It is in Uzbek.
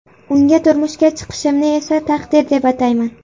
Unga turmushga chiqishimni esa taqdir deb atayman.